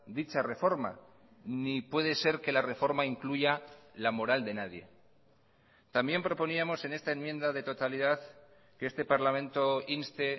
dicha reforma ni puede ser que la reforma incluya la moral de nadie también proponíamos en esta enmienda de totalidad que este parlamento inste